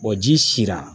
ji sera